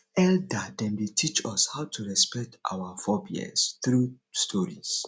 elder dem dey teach us how to respect our forebears through stories